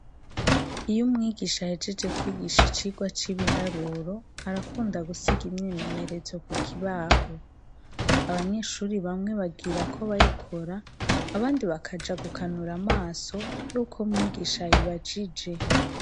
Iyo umwigisha ahejeje kwigisha icigwa c'ibiharuro, arakunda gusiga imyimenyerezo kukibaho. Abanyeshure bamwe bagirako bayikora abandi nabo bakaja gukanura amaso aruko umwigisha ayibajije.